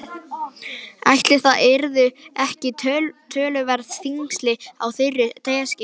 Ætli það yrðu ekki töluverð þyngsli á þeirri teskeið.